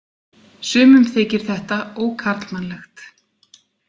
Sumum þykir þetta ókarlmannlegt.